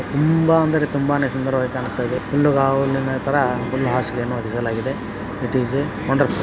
ತುಂಬಾ ಅಂದ್ರೆ ತುಂಬಾನೇ ಸುಂದರ ವಾಗಿ ಕಾಣಿಸ್ತಾಯಿದೆ ಹುಲ್ಲುಗಾವುಳುತರ ಹುಲ್ಲ್ ಹಾಸಿಗೆಯನ್ನು ಇಟ್ ಐಸ್ ವಂಡರ್ ಫುಲ್ .